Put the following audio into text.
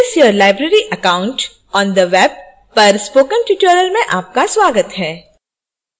access your library account on the web पर spoken tutorial में आपका स्वागत है